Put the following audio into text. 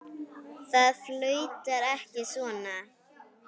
Það flautar ekki svona.